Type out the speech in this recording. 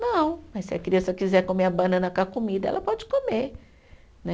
Não, mas se a criança quiser comer a banana com a comida, ela pode comer, né?